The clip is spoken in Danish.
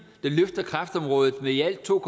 løfter kræftområdet med i alt to